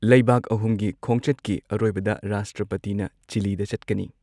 ꯂꯩꯕꯥꯛ ꯑꯍꯨꯝꯒꯤ ꯈꯣꯡꯆꯠꯀꯤ ꯑꯔꯣꯏꯕꯗ ꯔꯥꯁꯇ꯭ꯔꯄꯇꯤꯅ ꯆꯤꯜꯂꯤꯗ ꯆꯠꯀꯅꯤ ꯫